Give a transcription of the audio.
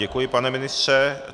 Děkuji, pane ministře.